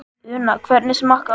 Una, hvernig smakkast?